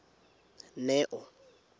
neo